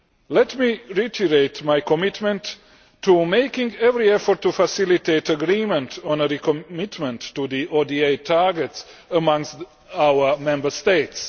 Let me reiterate my commitment to making every effort to facilitate agreement on a recommitment to the ODA targets amongst our Member States.